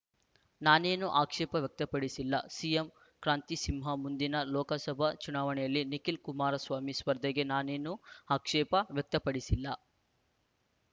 ನಾನೇನು ಆಕ್ಷೇಪ ವ್ಯಕ್ತಪಡಿಸಿಲ್ಲ ಸಿಎಂ ಕ್ರಾಂತಿಸಿಂಹ ಮುಂದಿನ ಲೋಕಸಭಾ ಚುನಾವಣೆಯಲ್ಲಿ ನಿಖಿಲ್‍ಕುಮಾರಸ್ವಾಮಿ ಸ್ಪರ್ಧೆಗೆ ನಾನೇನು ಆಕ್ಷೇಪ ವ್ಯಕ್ತಪಡಿಸಿಲ್ಲ